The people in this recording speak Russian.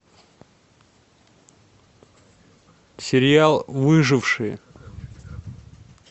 сериал выжившие